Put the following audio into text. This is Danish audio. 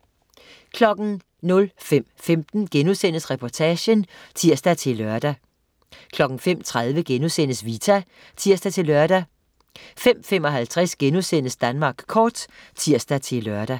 05.15 Reportagen* (tirs-lør) 05.30 Vita* (tirs-lør) 05.55 Danmark kort* (tirs-lør)